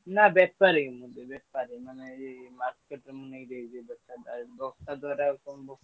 ନା ବେପାରି ଙ୍କୁ ନୁହଁ ବେପେରି ମାନେ ଏଇ market ମୁଁ ନେଇ ଦେଇଦିଏ ଦୋକାନକୁ ।